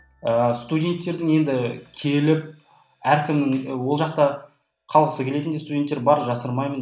ыыы студенттердің енді келіп әркімнің ол жақта қалғысы келетін де студенттер бар жасырмаймын